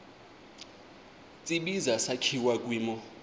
tsibizi sakhiwa kwimo